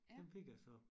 Den fik jeg så